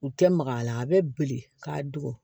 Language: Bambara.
U tɛ maga a la a bɛ bilen k'a don